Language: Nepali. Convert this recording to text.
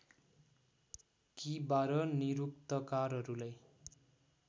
कि १२ निरुक्तकारहरूलाई